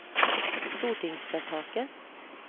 stortingsvedtaket